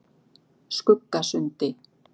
Skuggasundi